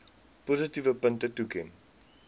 positiewe punte toeken